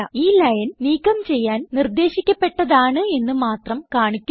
ഈ ലൈൻ നീക്കം ചെയ്യാൻ നിർദ്ദേശിക്കപ്പെട്ടതാണ് എന്ന് മാത്രം കാണിക്കുന്നു